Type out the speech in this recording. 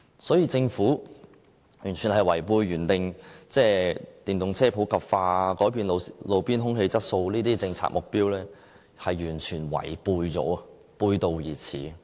所以政府完全違背了原訂電動車普及化、改善路邊空氣質素等政策目標，是完全違背了，背道而馳。